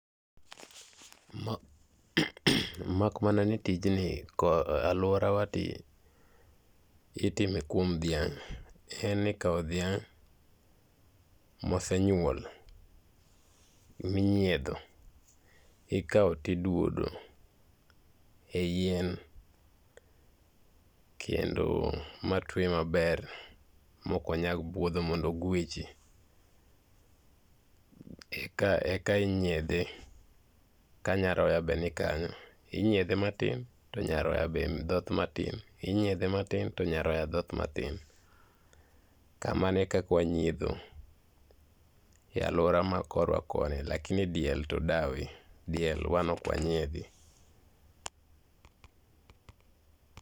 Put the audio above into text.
Mak mana ni tijni e aluorawa to itime kuom dhiang'. En ni ikawo dhiang' mosenyuol minyiedho ikawo to iduodo eyien, kendo matwe maber maok onyal buodho mondo oguechi eka nyiedhe kanyaroya be nikanyo. Inyiedhe matin to nyaroya dhoth matin, inyiedhe matin to nyaroya dhoth matin kamano e kaka wanyiedho e aluora ma korwa koni lakini diel to dawe, diel wan ok wanyiedhi.